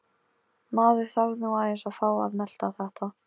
Maður þarf nú aðeins að fá að melta þetta.